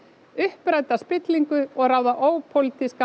uppræta spillingu og ráða ópólitískan